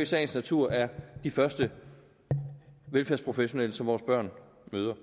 i sagens natur er de første velfærdsprofessionelle som vores børn møder